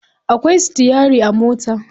Akwai sitiyari a mota.